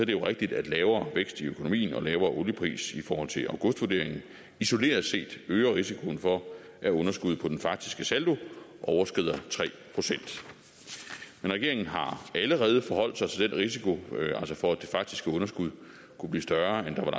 det jo rigtigt at lavere vækst i økonomien og lavere oliepris i forhold til augustvurderingen isoleret set øger risikoen for at underskuddet på den faktiske saldo overskrider tre procent men regeringen har allerede forholdt sig til den risiko for at det faktiske underskud kunne blive større end der var